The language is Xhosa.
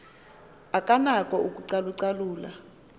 akanako ukucalu calula